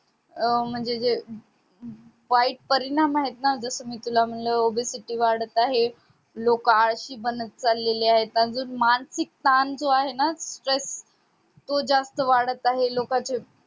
अं म्हणजे जे वाईट परिणामआहेत ना जस मी तुला म्हणलं obesity चे वाढत आहे लोक आळशी बनत चालेले आहे अजून मानसिक ताण जो आहे ना stress तो जास्त वाढत आहे लोकांचे